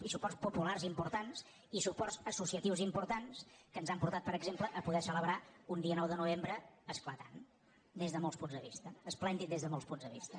i suports populars impor·tants i suports associatius importants que ens han portat per exemple a poder celebrar un dia nou de no·vembre esclatant des de molts punts de vista esplèn·did des de molts punts de vista